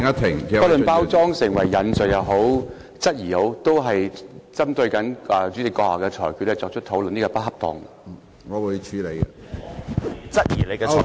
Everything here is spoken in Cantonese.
不論包裝成為引述也好，質疑也好，針對主席的裁決作出討論是不恰當的。